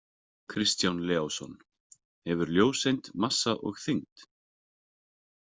Kristján Leósson Hefur ljóseind massa og þyngd?